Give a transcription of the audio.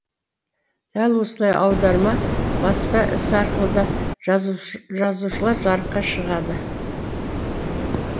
дәл осылай аударма баспа ісі арқылы да жазушылар жарыққа шығады